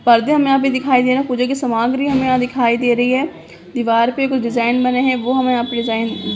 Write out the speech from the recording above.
पर्दे हमे यहाँ पे दिखाई दे रहे है पूजा की सामाग्री हमे यहा दिखाई दे रही है दीवार पे कुछ डिज़ाइन बने है वो हमे यहाँ पे डिज़ाइन --